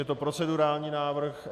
Je to procedurální návrh.